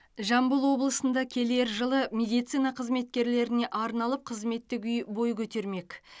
жамбыл облысында келер жылы медицина қызметкерлеріне арналып қызметтік үй бой көтермек